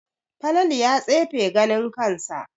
Falalu ya tsefe ganin kansa